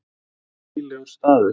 Þetta var hlýlegur staður.